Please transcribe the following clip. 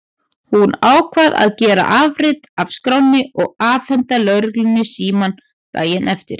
Hún ákvað að gera afrit af skránni og afhenda lögreglunni símann daginn eftir.